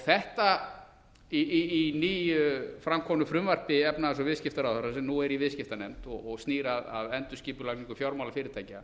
þetta í nýju framkomnu frumvarpi efnahags og viðskiptaráðherra sem nú er í viðskiptanefnd og snýr að endurskipulagningu fjármálafyrirtækja